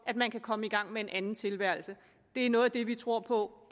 at man kan komme i gang med en anden tilværelse det er noget af det vi tror på